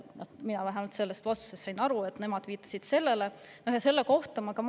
Mina sain sellest vastusest aru nii, et nad viitasid sellele.